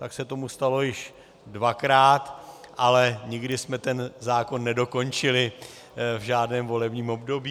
Tak se tomu stalo již dvakrát, ale nikdy jsme ten zákon nedokončili v žádném volebním období.